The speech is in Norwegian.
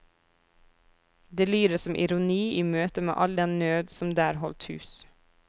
Det lyder som ironi i møte med all den nød som der holdt hus.